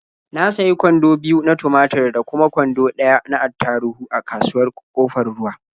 Na sayi kwando biyu na tumatur da kuma kwando ɗaya na attaruhu a kasuwar Ƙofar Ruwa.